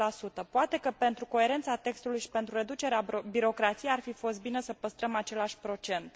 4 Poate că, pentru coerența textului și pentru reducerea birocrației, ar fi fost bine să păstrăm același procent.